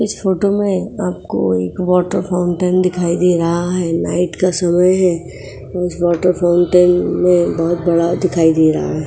इस फोटो में आपको एक वाटर फाउंटेन दिखाई दे रहा है। नाइट का समय है और इस वाटर फाउंटेन में बहुत बड़ा दिखाई दे रहा है।